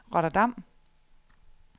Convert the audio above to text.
Rotterdam